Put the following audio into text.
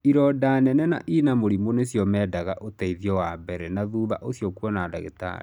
Ironda nene na ina mũrimũ nĩciamendaga ũteithio wa mbere na thutha ũcio kuona dagĩtarĩ.